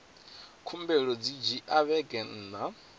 khumbelo dzi dzhia vhege nṋa